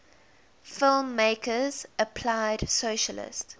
filmmakers applied socialist